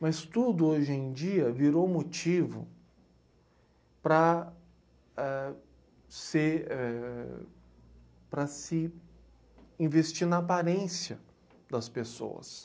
Mas tudo hoje em dia virou motivo para éh, se, éh... Para se investir na aparência das pessoas.